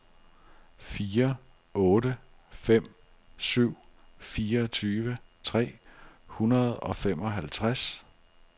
fire otte fem syv fireogtyve tre hundrede og femoghalvtreds